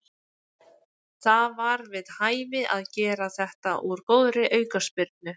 Það var við hæfi að gera þetta úr góðri aukaspyrnu.